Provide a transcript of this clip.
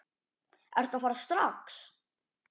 Ertu að fara strax?